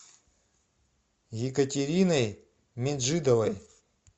екатериной меджидовой